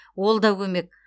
ол да көмек